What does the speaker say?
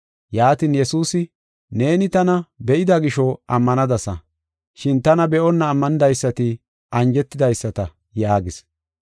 Yaatin Yesuusi, “Neeni tana be7ida gisho ammanadasa, shin tana be7onna ammanidaysati anjetidaysata” yaagis.